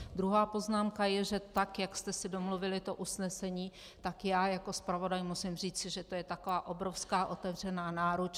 Druhá poznámka je, že tak jak jste si domluvili to usnesení, tak já jako zpravodaj musím říci, že to je taková obrovská otevřená náruč.